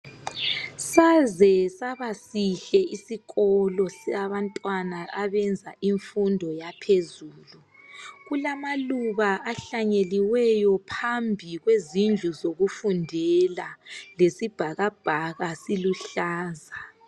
Saze sabasihle isikolo sabantwana abenza imfundo yaphezulu. Kulamaluba ahlanyeliweyo phambi kwezindlu zokufundela lesibhakabhaka siluhlaza.